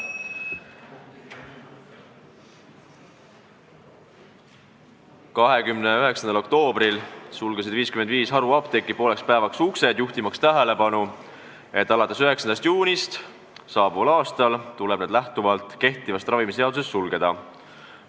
29. oktoobril sulges 55 haruapteeki pooleks päevaks uksed, juhtimaks tähelepanu, et alates 9. juunist saabuval aastal tulebki need kehtiva ravimiseaduse kohaselt sulgeda.